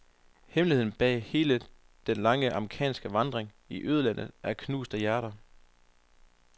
Hemmeligheden bag hele den lange amerikanske vandring i ødelandet er knuste hjerter.